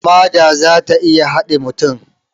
Hamada za ta iya haɗe mutum